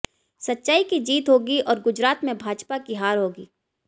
सच्चाई की जीत होगी और गुजरात में भाजपा की हार होगी